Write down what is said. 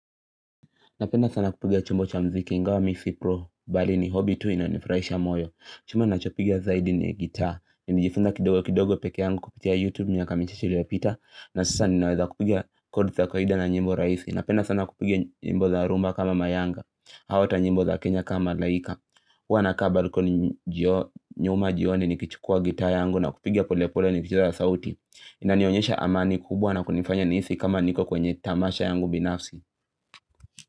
Napenda sana kupigia chombo cha mziki ingawa mi si pro bali ni hobby tu ina nifurahisha moyo Chumbo nachopigia zaidi ni guitar Nijifunza kidogo kidogo peke yangu kupitia youtube miaka mitisa iliyopita na sasa ninaweza kupigia kodi za kawaida na nyimbo raisi Napenda sana kupigia nyimbo za rumba kama mayanga au hata nyimbo za kenya kama malaika Huwa nakaa balikoni nyuma jioni nikichukua guitar yangu na kupigia pole pole ni kicheza sauti Inanionyesha amani kubwa na kunifanya nihisi kama niko kwenye tamasha yangu binafsi.